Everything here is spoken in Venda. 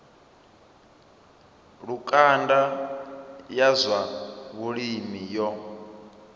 lukanda ya zwa vhulimi yo